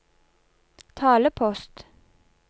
talepost